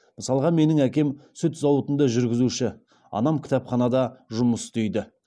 мысалға менің әкем сүт зауытында жүргізуші анам кітапханада жұмыс істейді